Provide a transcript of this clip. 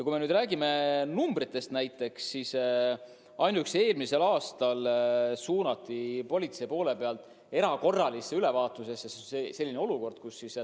Kui me räägime konkreetsetest numbritest, siis ainuüksi eelmisel aastal suunas politsei erakorralisele ülevaatusele 173 autot.